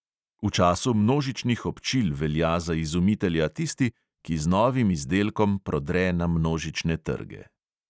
V času množičnih občil velja za izumitelja tisti, ki z novim izdelkom prodre na množične trge.